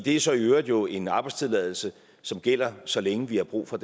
er så i øvrigt øvrigt en arbejdstilladelse som gælder så længe vi har brug for